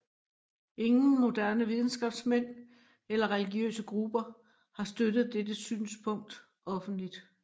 Ingen moderne videnskabsmænd eller religiøse grupper har støttet dette synspunkt offentligt